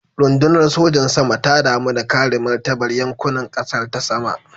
Rundunar sojan sama ta damu da kare martabar yankunan kasar ta sama.